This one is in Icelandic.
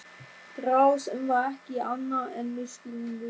Þrá sem var ekki annað en misskilningur.